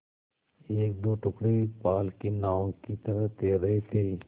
एकदो टुकड़े पाल की नावों की तरह तैर रहे थे